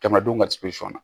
Kɛmɛ duuru na